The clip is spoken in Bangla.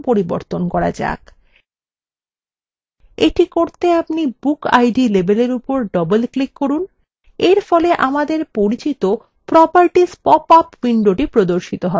এটি করতে আপনি bookid labelwe উপর double ক্লিক করুন এরফলে আমাদের পরিচিত properties পপ up window প্রর্দশিত করবে